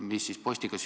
Aitäh küsimuse eest!